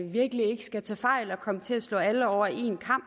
virkelig ikke skal tage fejl og komme til at slå alle over en kam